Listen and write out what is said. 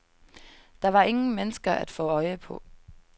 Der var ingen mennesker at få øje på.